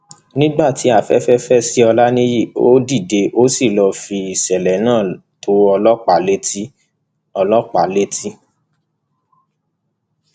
nígbà tí afẹfẹ fẹ sí ọláńìyí ó dìde ó sì lọọ fi ìṣẹlẹ náà tó ọlọpàá létí ọlọpàá létí